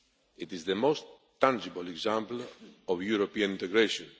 It is the most tangible example of European integration.